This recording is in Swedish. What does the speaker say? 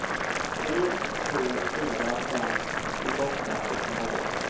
tre två fyra fem tjugoåtta etthundrasju